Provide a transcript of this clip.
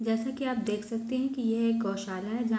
जैसे कि आप देख सकते हैं की यह एक गौशाला है जहाँ --